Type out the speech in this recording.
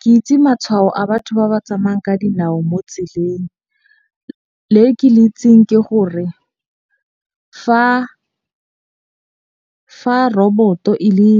Ke itse matshwao a batho ba ba tsamayang ka dinao mo tseleng. Le ke le itseng ke gore fa robot-o e le